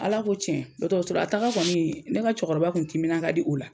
Ala ko cɛn dɔtɔrɔsɔla taga kɔni ne ka cɛkɔrɔba kun timinan ka di o la